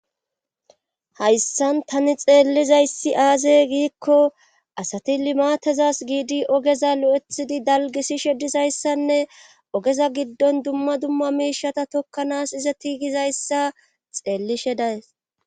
hayssan tani xeellizayssi aazey giikko asati limaatezas giidi ogeza lo7ethidi dalgisishe disayssanne ogeza giddon dumma dumma miishata tokkanaas ize ti gizayssa xeellishe days